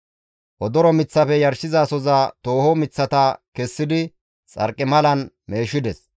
Odoro miththafe yarshizasoza tooho miththata kessidi xarqimalan meeshides.